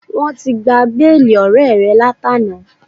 Wọ́n ti gba béèlì ọ̀rẹ́ẹ̀ rẹ látàná.